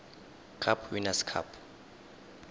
cup winners cup